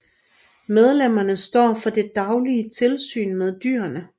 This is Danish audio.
Medlemmerne står for det daglige tilsyn med dyrene